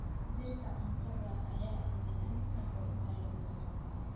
Dhirta cuntada ah ayaa engega ka hor intaan la goosan.